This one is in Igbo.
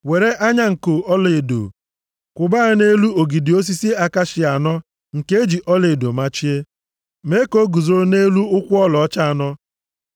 Were anya nko ọlaedo kwụba ya nʼelu ogidi osisi akashia anọ nke e ji ọlaedo machie, mee ka o guzoro nʼelu ụkwụ ọlaọcha anọ.